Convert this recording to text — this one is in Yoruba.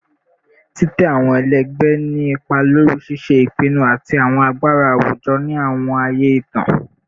Titẹ awọn ẹlẹgbẹ ni ipa lori ṣiṣe ipinnu ati awọn agbara awujọ ni awọn aaye itan